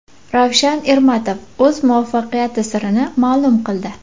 Ravshan Ermatov o‘z muvaffaqiyati sirini ma’lum qildi.